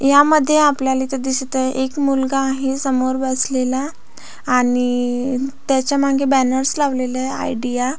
यामध्ये आपल्याला इथ दिसत आहे एक मुलगा आहे समोर बसलेला आणि त्याच्यामागे बॅनर्स लावलेले आहे आयडिया .